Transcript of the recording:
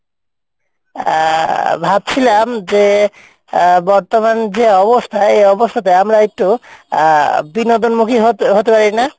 আহ ভাবছিলাম যে আহ বর্তমান যে অবস্থা এই অবস্থাতে আমরা একটু আহ বিনোদন মুখী হতে হতে পারি না?